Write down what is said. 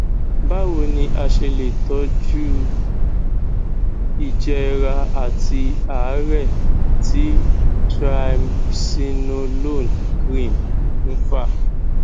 báwo ni a ṣe lè ṣe itọju ìjẹra àti àárè tí triamcinolone cream ń fà